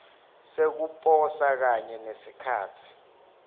sekuposa kanye nesikhatsi